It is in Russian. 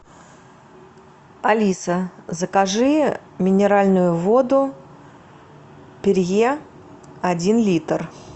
алиса закажи минеральную воду перье один литр